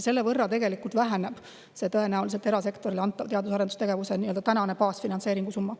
Selle võrra tegelikult tõenäoliselt väheneb erasektorile antava teadus- ja arendustegevuse baasfinantseeringu summa.